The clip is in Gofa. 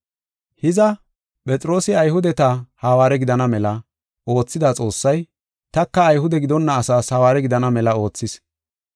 Hiza, Phexroosi Ayhudeta hawaare gidana mela oothida Xoossay, taka Ayhude gidonna asaas hawaare gidana mela oothis.